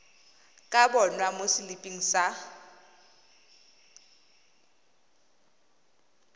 ka bonwa mo seliping sa